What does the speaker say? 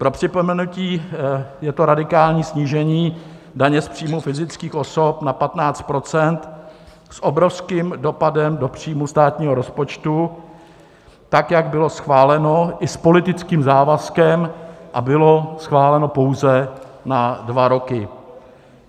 Pro připomenutí, je to radikální snížení daně z příjmů fyzických osob na 15 % s obrovským dopadem do příjmů státního rozpočtu, tak jak bylo schváleno i s politickým závazkem a bylo schváleno pouze na dva roky.